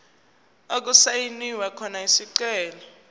okusayinwe khona isicelo